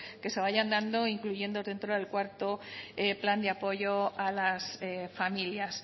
que vayan dando incluyendo del cuarto plan de apoyo a las familias